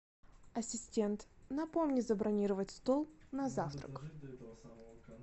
ассистент напомни забронировать стол на завтрак